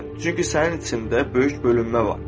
Çünki sənin içində böyük bölünmə var.